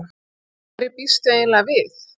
Hverju býstu eiginlega við?